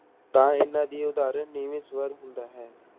ਤਾਂ ਇਹਨਾਂ ਦੀ ਉਦਾਹਰਣ ਨੀਵੇਂ ਸਵਰ ਹੁੰਦਾ ਹੈ।